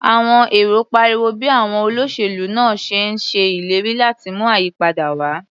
Àwọn èrò pariwo bí àwọn olóṣèlú náà ṣe ń ṣe ìlérí láti mú ayípadà wá.